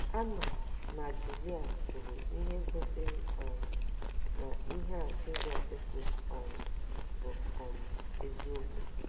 Anna na Julia kwuru ihe gosiri um na ihe a Jizọs kwuru um bụ um eziokwu.